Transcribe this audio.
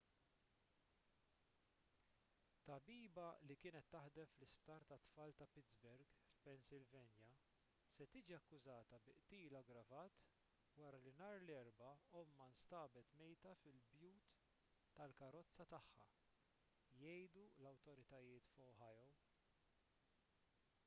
tabiba li kienet taħdem fl-isptar tat-tfal ta' pittsburgh f'pennsylvania se tiġi akkużata bi qtil aggravat wara li nhar l-erbgħa ommha nstabet mejta fil-but tal-karozza tagħha jgħidu l-awtoritajiet f'ohio